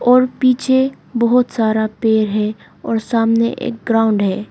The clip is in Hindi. और पीछे बहुत सारा पेड़ है और सामने एक ग्राउंड है।